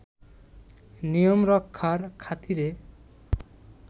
নিয়ম রক্ষার খাতিরে